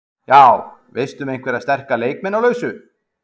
Já, veistu um einhverja sterka leikmenn á lausu?